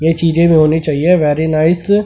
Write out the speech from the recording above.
ये चीजें भी होनी चाहिए वेरी नाइस --